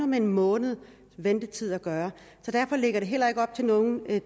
med en måneds ventetid at gøre og derfor lægger det heller ikke op til nogen